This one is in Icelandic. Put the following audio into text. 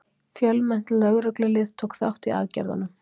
Fjölmennt lögreglulið tók þátt í aðgerðunum